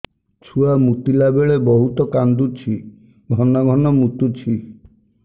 ଛୁଆ ମୁତିଲା ବେଳେ ବହୁତ କାନ୍ଦୁଛି ଘନ ଘନ ମୁତୁଛି